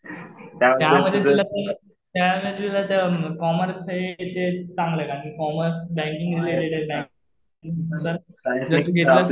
त्यामध्ये तुला त्यामध्ये कॉमर्स रिलेटेड चांगलं आहे. कारण कि कॉमर्स बँकिंग रिलेटेड आहे. जर कि बिजनेस